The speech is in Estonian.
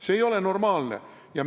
See ei ole normaalne!